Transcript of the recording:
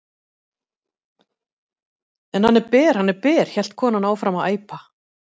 En hann er ber, hann er ber hélt konan áfram að æpa.